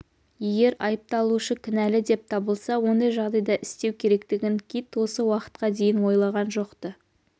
егер айыпталушы кінәлі деп табылса ондай жағдайда істеу керектігін кит осы уақытқа дейін ойлаған жоқ-ты